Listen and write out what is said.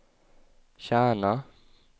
Kärna